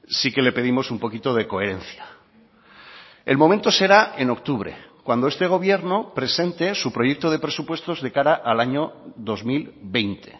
sí que le pedimos un poquito de coherencia el momento será en octubre cuando este gobierno presente su proyecto de presupuestos de cara al año dos mil veinte